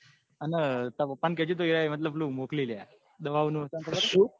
અને તાર પાપા ને કેજે તું એ પેલું મોકલી લ્યા દવા નું